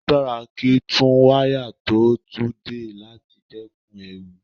Ó dáa kí tún wáyà tó tú dè láti dẹ́kun ewu.